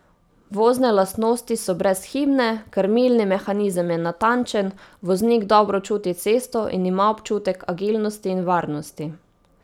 Vozne lastnosti so brezhibne, krmilni mehanizem je natančen, voznik dobro čuti cesto in ima občutek agilnosti in varnosti.